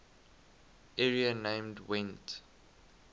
area named gwent